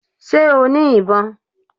Sé o ní ìbọn?